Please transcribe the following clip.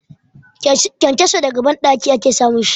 Kenkeso daga banɗaki ake samun shi.